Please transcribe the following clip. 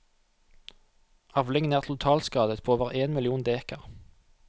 Avlingen er totalskadet på over én million dekar.